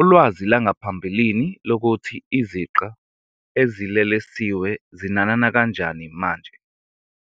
Ulwazi lwangaphambilini lokuthi iziqa ezilelesiwe zinanana kanjani manje